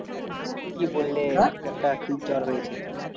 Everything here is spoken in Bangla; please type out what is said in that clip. কি বললে একটা কি জ্বর হয়েছে